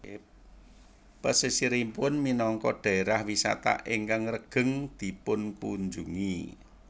Pesisiripun minangka daerah wisata ingkang regeng dipunkunjungi